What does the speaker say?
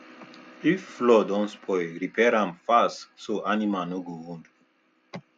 if floor don spoil repair am fast so animals no go wound